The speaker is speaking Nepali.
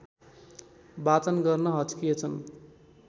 वाचन गर्न हच्किएछन्